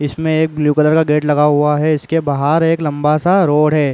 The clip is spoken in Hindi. इसमें एक ब्लू कलर का गेट लगा हुआ है। इसके बाहर एक लम्बा-सा रोड है।